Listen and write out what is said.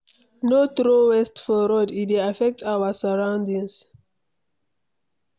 No throw waste for road; e dey affect our surroundings.